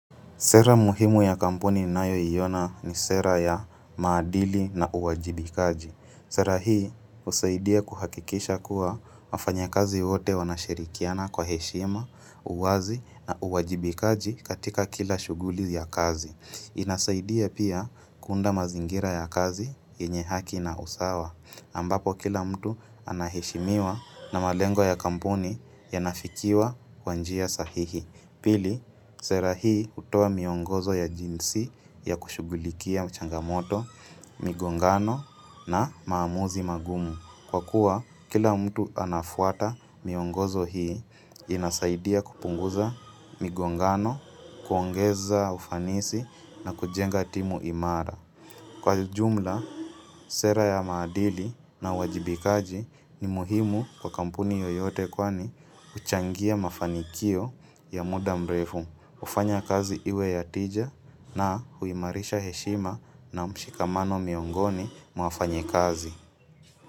Sera muhimu ya kampuni nayo yiona ni sera ya maadili na uwajibikaji. Sera hii husaidia kuhakikisha kuwa wafanya kazi wote wanashirikiana kwa heshima, uwazi na uwajibikaji katika kila shuguli ya kazi. Inasaidia pia kunda mazingira ya kazi yenye haki na usawa. Ambapo kila mtu anaheshimiwa na malengo ya kampuni ya nafikiwa kwa njia sahihi. Pili, sera hii utoa miongozo ya jinsi ya kushugulikia changamoto, migongano na maamuzi magumu. Kwa kuwa, kila mtu anafuata miongozo hii inasaidia kupunguza migongano, kuongeza ufanisi na kujenga timu imara. Kwa jumla, sera ya maadili na wajibikaji ni muhimu kwa kampuni yoyote kwani huchangia mafanikio ya muda mrefu, hufanya kazi iwe ya tija na huimarisha heshima na mshikamano miongoni mwa fanyikazi.